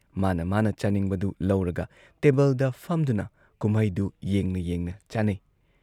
ꯃꯥꯅ ꯃꯥꯥꯅ ꯆꯥꯅꯤꯡꯕꯗꯨ ꯂꯧꯔꯒ ꯇꯦꯕꯜꯗ ꯐꯝꯗꯨꯅ ꯀꯨꯝꯃꯩꯗꯨ ꯌꯦꯡꯅ ꯌꯦꯡꯅ ꯆꯥꯅꯩ ꯫